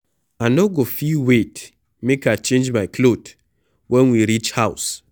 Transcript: I no go fit wait make I change my cloth wen we reach house